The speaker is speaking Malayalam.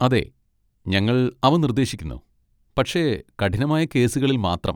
അതെ, ഞങ്ങൾ അവ നിർദ്ദേശിക്കുന്നു, പക്ഷേ കഠിനമായ കേസുകളിൽ മാത്രം.